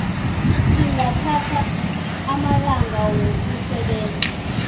ingathatha amalanga wokusebenza